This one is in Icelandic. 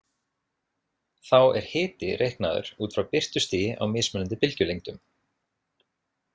Þá er hiti reiknaður út frá birtustigi á mismunandi bylgjulengdum.